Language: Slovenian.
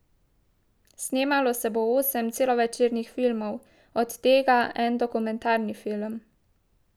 Snemalo se bo osem celovečernih filmov, od tega en dokumentarni film.